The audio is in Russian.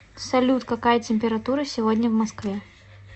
салют какая температура сегодня в москве